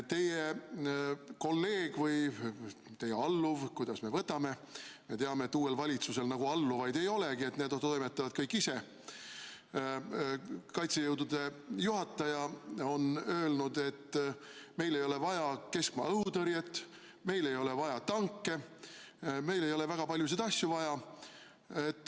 Teie kolleeg või teie alluv, kuidas me võtame – me teame, et uuel valitsusel nagu alluvaid ei olegi, need toimetavad kõik ise –, kaitsejõudude juhataja on öelnud, et meil ei ole vaja keskmaa õhutõrjet, meil ei ole vaja tanke, meil ei ole väga paljusid asju vaja.